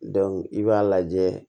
i b'a lajɛ